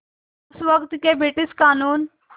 उस वक़्त के ब्रिटिश क़ानून